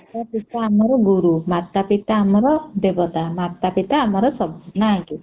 ମାତା ପିତା ଆମର ଗୁରୁ ମାତା ପିତା ଆମର ଦେବତା ମାତା ପିତା ଆମର ସବୁ ନା କି